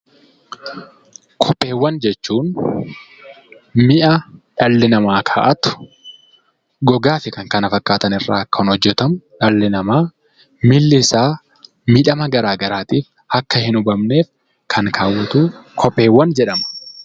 Kopheewwan jechuun mi'a dhalli namaa kaa'atu gogaa fi kan kana fakkaatan irraa kan hojjatamu dhalli namaa miilli isaa miidhama garaagaraatiin akka hin hubamneef kan kaawwatu kopheewwan jedhama.